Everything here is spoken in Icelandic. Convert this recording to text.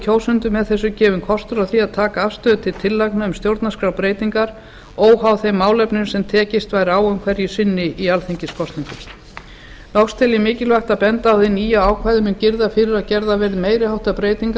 kjósendum með þessu gefinn kostur á því að taka afstöðu til tillagna um stjórnarskrárbreytingar óháð þeim málefnum sem tekist væri á um hverju sinni í alþingiskosningum loks tel ég mikilvægt að benda á að hið nýja ákvæði mun girða fyrir að gerðar verði meiri háttar breytingar